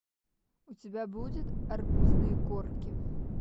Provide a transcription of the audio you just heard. у тебя будет арбузные корки